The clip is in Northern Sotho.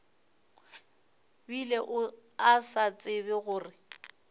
bile a sa tsebe gore